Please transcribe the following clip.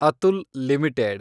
Atul limited